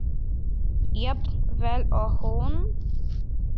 Jafn vel og hún?